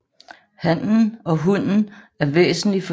Hannen og hunnen er væsentlig forskellige i størrelse